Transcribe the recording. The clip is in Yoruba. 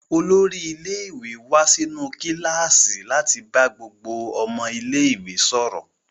Olórí ilé-ìwé wá sínú kíláàsì láti bá gbogbo ọmọ ilé-ìwé sọ̀rọ̀.